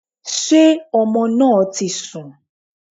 Sé ọmọ náà ti sùn?